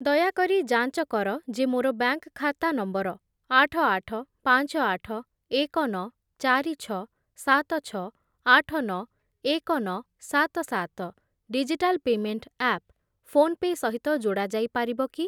ଦୟାକରି ଯାଞ୍ଚ କର ଯେ ମୋର ବ୍ୟାଙ୍କ୍‌‌ ଖାତା ନମ୍ବର ଆଠ, ଆଠ, ପାଞ୍ଚ, ଆଠ, ଏକ, ନଅ, ଚାରି, ଛଅ, ସାତ, ଛଅ, ଆଠ, ନଅ, ଏକ, ନଅ, ସାତ, ସାତ ଡିଜିଟାଲ୍ ପେମେଣ୍ଟ୍‌ ଆପ୍ ଫୋନ୍‌ପେ' ସହିତ ଯୋଡ଼ା ଯାଇପାରିବ କି?